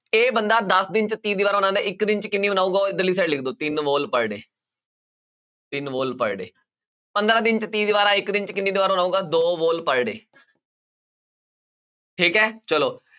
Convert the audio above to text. ਇਹ ਬੰਦਾ ਦਸ ਦਿਨ 'ਚ ਤੀਹ ਦੀਵਾਰਾਂ ਬਣਾਉਂਦਾ ਹੈ, ਇੱਕ ਦਿਨ 'ਚ ਕਿੰਨੀ ਬਣਾਊਗਾ ਉਹ ਇੱਧਰਲੀ side ਲਿਖ ਤਿੰਨ wall per day ਤਿੰਨ wall per day ਪੰਦਰਾਂ ਦਿਨ 'ਚ ਤੀਹ ਦੀਵਾਰਾਂਂ ਇੱਕ ਦਿਨ 'ਚ ਕਿੰਨੀ ਦੀਵਾਰ ਬਣਾਊਗਾ ਦੋ wall per day ਠੀਕ ਹੈ ਚਲੋ।